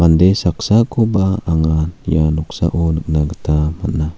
saksakoba anga ia noksao nikna gita man·a.